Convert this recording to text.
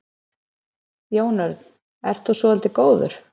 Jón Örn: Ert þú svolítið góður?